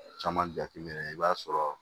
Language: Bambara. Caman jateminɛ i b'a sɔrɔ